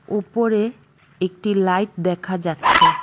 ওপরে একটি লাইট দেখা যাচ্ছে।